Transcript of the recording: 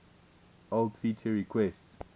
old feature requests